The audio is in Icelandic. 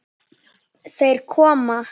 Þeir koma!